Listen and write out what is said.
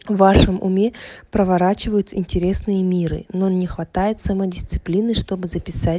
вашем уме проворачивают интересные миры но не хватает самодисциплины чтобы записать